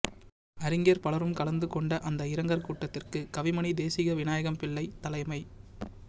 அறிஞர் பலரும் கலந்து கொண்ட அந்த இரங்கற் கூட்டத்துக்கு கவிமணிதேசிக விநாயகம் பிள்ளை தலைமை